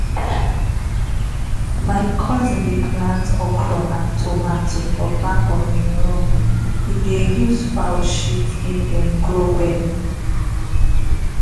my cousin dey plant okro and tomato for back of him room e dey use fowl shit make dem grow well.